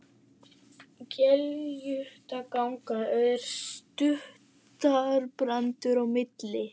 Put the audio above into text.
Gelgjutanga og er surtarbrandur á milli.